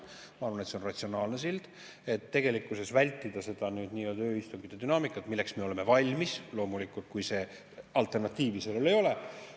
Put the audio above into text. Ma arvan, et see on ratsionaalne sild, et tegelikkuses vältida seda nii-öelda ööistungite dünaamikat – milleks me oleme valmis, loomulikult, kui alternatiivi sellele ei ole.